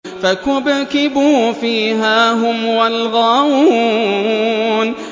فَكُبْكِبُوا فِيهَا هُمْ وَالْغَاوُونَ